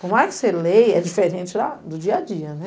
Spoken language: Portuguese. Por mais que você leia, é diferente do dia a dia, né?